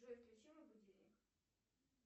джой включи мой будильник